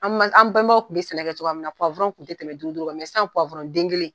An bɛnbaw kun be sɛnɛ kɛ cogoya min na kun te tɛmɛ duuru duuru kan sisan den kelen